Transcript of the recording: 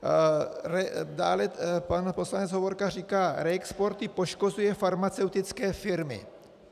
Dále pan poslanec Hovorka říká - reexporty poškozují farmaceutické firmy.